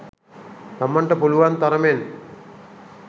තමන්ට පුළුවන් තරමෙන්